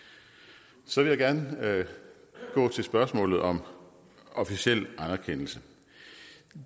så vil jeg gerne gå til spørgsmålet om officiel anerkendelse